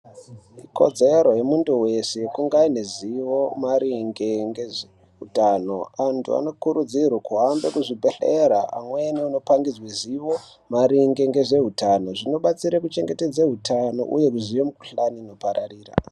Ikodzero yemuntu wese kungaine zivo maringe ngezveutano. Antu anokurudzirwa kuhambe kuzvibhedhlera amweni anopangidzwe zivo maringe ngezveutano zvinobatsire kuchengetedza hutano uye kuziye mukhuhlane inopararira.